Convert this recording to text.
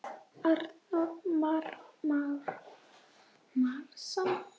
Arnór Már Másson.